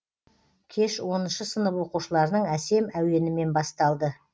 кеш оныншы сынып оқушыларының әсем әуенімен басталды